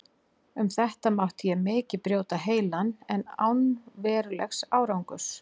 Um þetta mátti ég mikið brjóta heilann, en án verulegs árangurs.